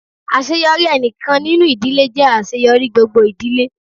Àṣeyọrí ẹnìkan nínú ìdílé jẹ́ àṣeyọrí gbogbo ìdílé.